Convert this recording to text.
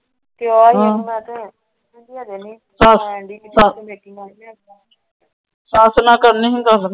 ਸੱਸ ਨਾਲ ਕਰਨੀ ਸੀ ਗੱਲ।